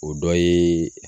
O dɔ ye